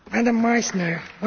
Frau Präsidentin!